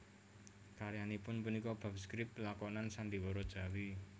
Karyanipun punika bab skrip lakonan sandhiwara Jawi